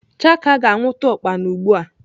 Chaka ga-anwụta ukpana ugbu a.